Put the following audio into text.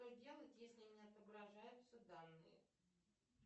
что делать если не отображаются данные